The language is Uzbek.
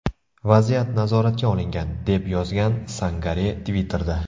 Vaziyat nazoratga olingan”, deb yozgan Sangare Twitter’da.